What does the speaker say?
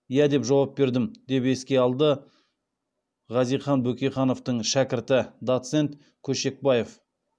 иә деп жауап бердім деп еске алды хазихан бөкейхановтың шәкірті доцент көшекбаев